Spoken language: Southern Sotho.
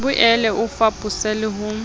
boele o fapose le ho